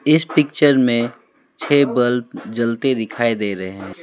इस पिक्चर मे छे बल्ब जलते दिखाई दे रहे है।